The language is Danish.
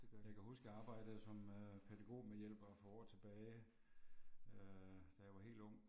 Jeg kan huske jeg arbejde som øh pædagogmedhjælper for år tilbage, øh da jeg var helt ung